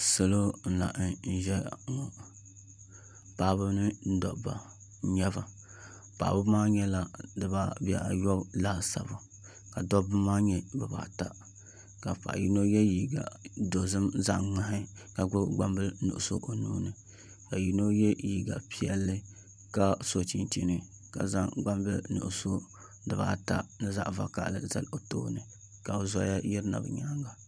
Salo n laɣam ʒɛya ŋɔ paɣaba ni dabba n nyɛba paɣaba maa nyɛla bihi ayobu laasabu ka dabba maa nyɛ bibaata ka paɣa yino yɛ liiga dozim zaŋ ŋmaa ka gbubi gbambili nuɣso o nuuni ka yino yɛ liiga piɛlli ka so chinchini ka zaŋ gbambili nuɣso dibaata ni zaɣ vakaɣali zali o tooni ka zoya yirina bi nyaanga